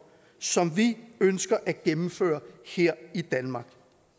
som vi ønsker at gennemføre her i danmark